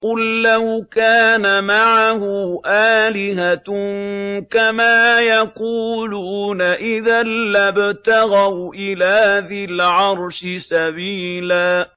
قُل لَّوْ كَانَ مَعَهُ آلِهَةٌ كَمَا يَقُولُونَ إِذًا لَّابْتَغَوْا إِلَىٰ ذِي الْعَرْشِ سَبِيلًا